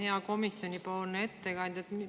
Hea komisjoni ettekandja!